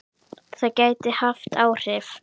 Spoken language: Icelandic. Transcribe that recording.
Það gæti haft áhrif.